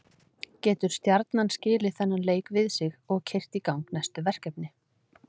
Getur Stjarnan skilið þennan leik við sig og keyrt í gang næstu verkefni?